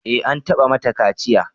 Eh, an taɓa mata kaciya